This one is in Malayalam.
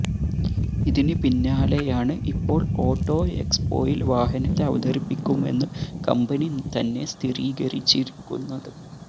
ഇതിന് പിന്നാലെയാണ് ഇപ്പോള് ഓട്ടോ എക്സ്പോയില് വാഹനത്തെ അവതരിപ്പിക്കുമെന്ന് കമ്പനി തന്നെ സ്ഥിരീകരിച്ചിരിക്കുന്നത്